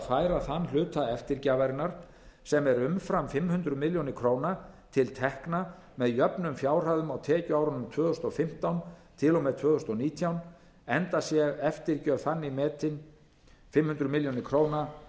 færa þann hluta eftirgjafarinnar sem er umfram fimm hundruð milljóna króna til tekna með jöfnum fjárhæðum á tekjuárunum tvö þúsund og fimmtán til og með tvö þúsund og nítján en sé eftirgjöf þannig metin fimm hundruð milljóna króna